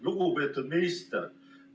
Lugupeetud minister!